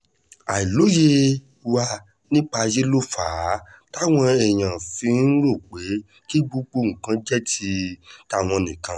àìlóye wa nípa ayé ló fà á táwọn èèyàn fi ń rò pé kí gbogbo nǹkan jẹ́ ti tàwọn nìkan